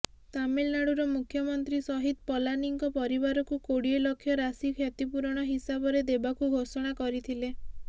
ତାମିଲନାଡ଼ୁର ମୁଖ୍ୟମନ୍ତ୍ରୀ ସହିଦ ପଲାନୀଙ୍କ ପରିବାରକୁ କୋଡ଼ିଏ ଲକ୍ଷ ରାଶି କ୍ଷତିପୂରଣ ହିସାବରେ ଦେବାକୁ ଘୋଷଣା କରିଥିଲେ